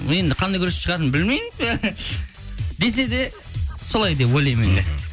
енді қандай күресші шығатын білмеймін десе де солай деп ойлаймын